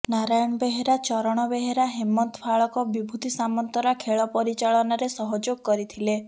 ନାରାୟଣ ବେହେରା ଚରଣ ବେହେରା ହେମନ୍ତ ଫାଳକବିଭୁତି ସାମନ୍ତରା ଖେଳ ପରିଚାଳନାରେ ସହଯୋଗ କରିଥିଲେ